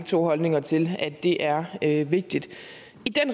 to holdninger til at det er er vigtigt i